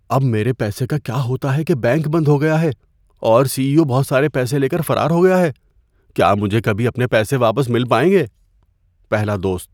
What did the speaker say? اب میرے پیسے کا کیا ہوتا ہے کہ بینک بند ہو گیا ہے اور سی ای او بہت سارے پیسے لے کر فرار ہو گیا ہے؟ کیا مجھے کبھی اپنے پیسے واپس مل پائیں گے؟ (پہلا دوست)